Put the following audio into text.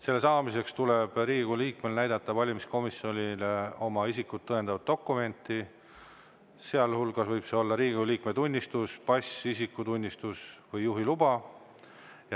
Selle saamiseks tuleb Riigikogu liikmel näidata valimiskomisjonile oma isikut tõendavat dokumenti, sealhulgas võib see olla Riigikogu liikme tunnistus, pass, isikutunnistus või juhiluba.